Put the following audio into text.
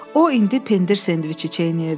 O indi pendir sendviçi çeynəyirdi.